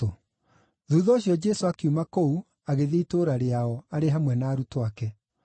Thuutha ũcio Jesũ akiuma kũu agĩthiĩ itũũra rĩao, arĩ hamwe na arutwo ake.